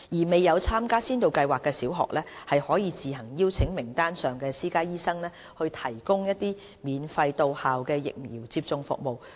未有參加先導計劃的小學，可自行邀請名單上的私家醫生提供免費的到校疫苗接種服務。